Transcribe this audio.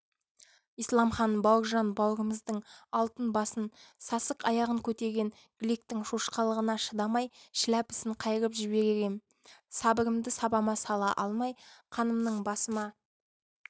исламхан бауыржан бауырымыздың алтын басын сасық аяғын көтерген гликтің шошқалығына шыдамай шіләпісін қайырып жіберер ем сабырымды сабама сала алмай қанымның басыма